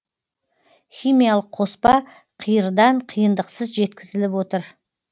химиялық қоспа қиырдан қиындықсыз жеткізіліп отыр